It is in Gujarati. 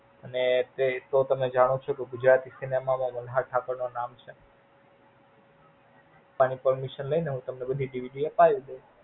અને કોઈ તો તમે જાણો છો કે ગુજરાતી Cinema માં મલ્હાર ઠાકર ના નામ છે. એની Parmination લઇ ને હું તમે બધી DVD અપાવી દૈસ